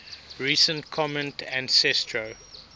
recent common ancestor